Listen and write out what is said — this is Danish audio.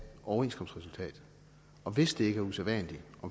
overenskomstresultatet og hvis det ikke er usædvanligt